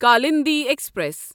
Kalindi express